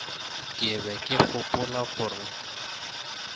ke be ke gopola gore